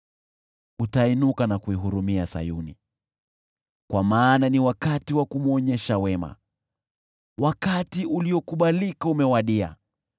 Utainuka na kuihurumia Sayuni, kwa maana ni wakati wa kumwonyesha wema; wakati uliokubalika umewadia.